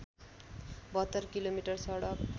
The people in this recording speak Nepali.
७२ किलोमिटर सडक